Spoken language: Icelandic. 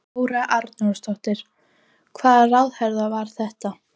Þóra Arnórsdóttir: Hvaða ráðherra var þetta?